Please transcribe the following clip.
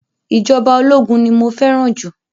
Ìjọba ológun ni mo fẹ́ràn jù.